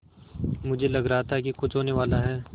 मुझे लग रहा था कि कुछ होनेवाला है